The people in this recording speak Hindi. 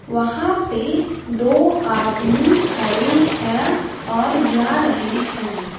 वहां पे दो आदमी खड़े हैं और जा रहे हैं।